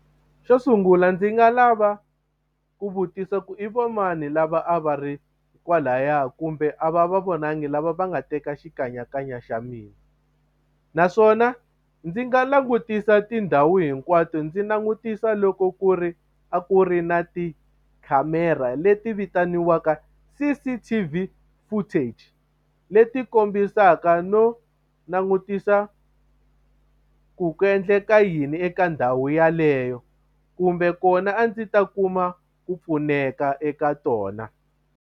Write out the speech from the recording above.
Xo sungula ndzi nga lava ku vutisa ku i va mani lava a va ri kwalaya kumbe a va va vonangi lava va nga teka xikanyakanya xa mina naswona ndzi nga langutisa tindhawu hinkwato ndzi langutisa loko ku ri a ku ri na tikhamera leti vitaniwaka C_C_T_V footage leti kombisaka no langutisa ku ku endleka yini eka ndhawu yaleyo kumbe kona a ndzi ta kuma ku pfuneka eka tona.